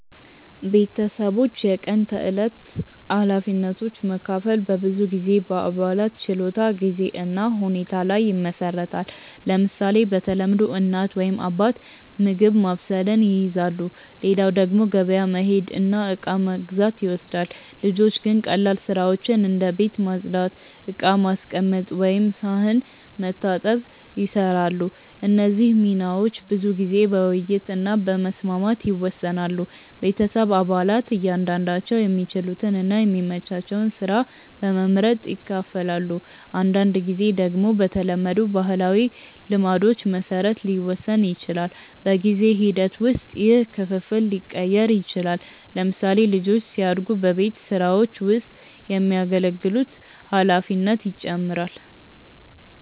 ቤተሰቦች የቀን ተዕለት ኃላፊነቶችን መካፈል በብዙ ጊዜ በአባላት ችሎታ፣ ጊዜ እና ሁኔታ ላይ ይመሰረታል። ለምሳሌ፣ በተለምዶ እናት ወይም አባት ምግብ ማብሰልን ይይዛሉ፣ ሌላው ደግሞ ገበያ መሄድ እና እቃ መግዛት ይወስዳል። ልጆች ግን ቀላል ስራዎችን እንደ ቤት ማጽዳት፣ ዕቃ ማስቀመጥ ወይም ሳህን መታጠብ ይሰራሉ። እነዚህ ሚናዎች ብዙ ጊዜ በውይይት እና በመስማማት ይወሰናሉ። ቤተሰብ አባላት እያንዳንዳቸው የሚችሉትን እና የሚመቻቸውን ስራ በመመርጥ ይካፈላሉ። አንዳንድ ጊዜ ደግሞ በተለመዱ ባህላዊ ልማዶች መሰረት ሊወሰን ይችላል። በጊዜ ሂደት ውስጥ ይህ ክፍፍል ሊቀየር ይችላል። ለምሳሌ፣ ልጆች ሲያድጉ በቤት ስራዎች ውስጥ የሚያገለግሉት ኃላፊነት ይጨምራል።